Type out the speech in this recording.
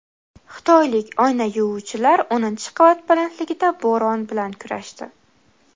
Xitoylik oyna yuvuvchilar o‘ninchi qavat balandligida bo‘ron bilan kurashdi .